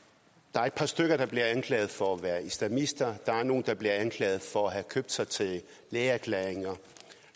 er et par stykker der bliver anklaget for at være islamister der er nogle der bliver anklaget for at have købt sig til lægeerklæringer